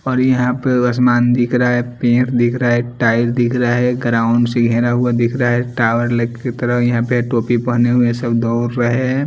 और यहां पे असमान दिख रहा है पेंड दिख रहा है टायर दिख रहा है ग्राउंड से घेरा हुआ दिख रहा है टावर लक की तरह यहां पे टोपी पहने हुए सब दौर रहे हैं।